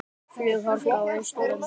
Flughálka á Austurlandi